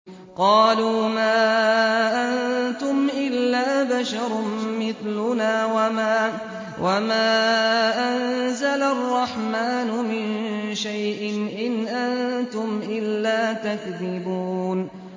قَالُوا مَا أَنتُمْ إِلَّا بَشَرٌ مِّثْلُنَا وَمَا أَنزَلَ الرَّحْمَٰنُ مِن شَيْءٍ إِنْ أَنتُمْ إِلَّا تَكْذِبُونَ